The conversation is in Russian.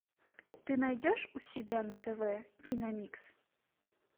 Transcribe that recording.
ты найдешь у себя на тв киномикс